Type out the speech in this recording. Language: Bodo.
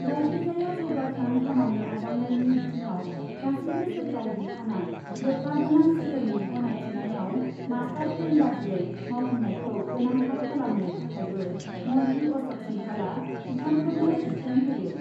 जायखिजाया जौगाखां खामानि आजावनायनि बिथिङाव गासैबो सोरखारि बिफाना लोब्बा गोनां सोहोरनि गनायथिनायाव मास्टार प्लेन बादियै मावफुंनायखौ गोनांथार खालामनो थाखायबो मन्थ्रि अश'क सिंहालआ बिफानफोरनो बिथोन होयो।